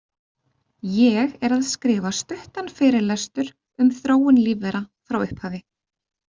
Ég er að skrifa stuttan fyrirlestur um þróun lífvera frá upphafi.